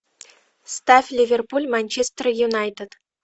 ставь ливерпуль манчестер юнайтед